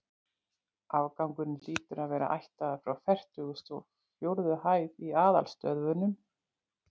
Afgangurinn hlýtur að vera ættaður frá fertugustu og fjórðu hæð í aðalstöðvunum.